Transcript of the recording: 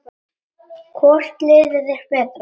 Hvort liðið er betra?